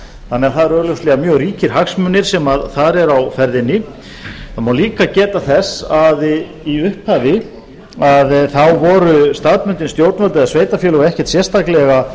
þannig að það eru augljóslega mjög ríkir hagsmunir sem þar eru á ferðinni það má líka geta þess að í upphafi voru staðbundin stjórnvöld eða sveitarfélög ekkert sérstaklega